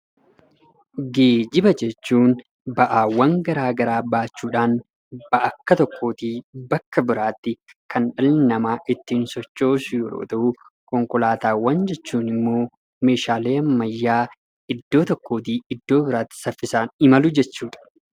Geejjiba jechuun ba'aawwan gara garaa baachuudhaan bakka tokkoootii bakka biraatti kan dhalli namaa ittiin sochoosu yoo ta’u, konkolaataawwan jechuun immoo meeshaalee ammayyaa iddoo tokko irraa iddoo biraatti saffisaan imalu jechuudha.